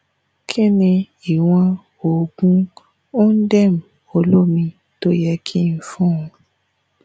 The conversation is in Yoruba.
kí ni ìwọ̀n oògun ondem olómi tó ye kí fún-un